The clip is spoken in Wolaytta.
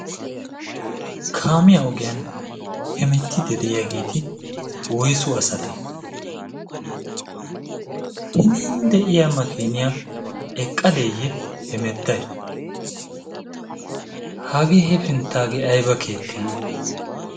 kaamiyaa ogiyan hemettidi de7iyaageeti woisu asate hinin de7iya makiniyaa eqqadeeyye hemettai? hagee he finttaagee aiba keette?